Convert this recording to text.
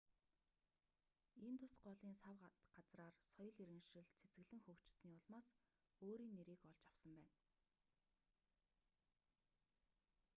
индус голын сав газраар соёл иргэншил цэцэглэн хөгжсөний улмаас өөрийн нэрийг олж авсан байна